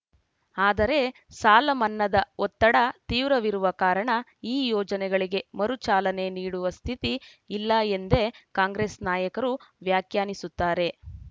ಆದರೆ ಸಾಲಮನ್ನಾದ ಒತ್ತಡ ತೀವ್ರವಿರುವ ಕಾರಣ ಈ ಯೋಜನೆಗಳಿಗೆ ಮರು ಚಾಲನೆ ನೀಡುವ ಸ್ಥಿತಿ ಇಲ್ಲ ಎಂದೇ ಕಾಂಗ್ರೆಸ್‌ ನಾಯಕರು ವ್ಯಾಖ್ಯಾನಿಸುತ್ತಾರೆ